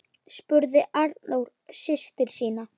spurði Arnór systur sína.